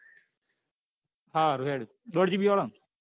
સારું હેડ દોડ gb વાળો ને